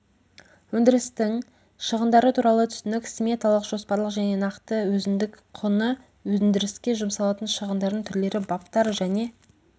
өндірістің шығындары туралы түсінік сметалық жоспарлық және нақты өзіндік құны өндіріске жұмсалатын шығындардың түрлері баптар және